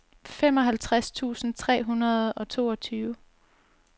femoghalvtreds tusind tre hundrede og toogtyve